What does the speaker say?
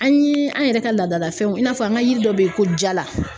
An ye an yɛrɛ ka laadalafɛnw i n'a fɔ an ka yiri dɔ bɛ yen ko jala